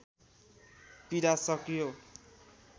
पीडा सकियो